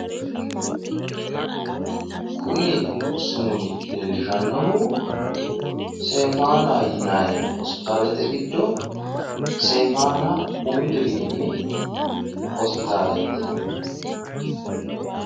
kuni sumudi leellishannohu sefaana yinayi hospitaalete giddo sefaana umi dirimi hospitaaleeti.